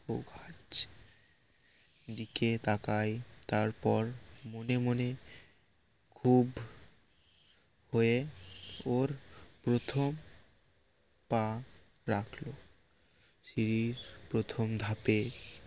দিকে তাকায় তার পর মনে মনে খুব হয়ে ওর প্রথম পা রাখল সিড়ির প্রথম ধাপে